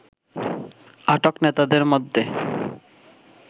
আটক নেতাদের মধ্যে